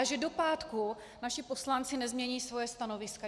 A že do pátku naši poslanci nezmění svoje stanoviska.